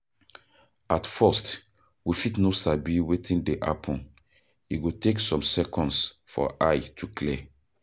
At first we fit no sabi wetin dey happen, e go take some seconds for eye to clear